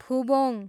फुबोङ